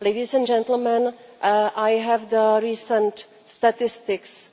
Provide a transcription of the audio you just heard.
Ladies and gentlemen, I have the recent statistics